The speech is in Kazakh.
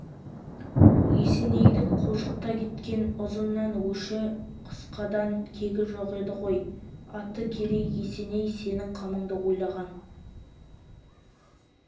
есенейдің қожықта кеткен ұзыннан өші қысқадан кегі жоқ еді ғой аты керей есеней сенің қамыңды ойлаған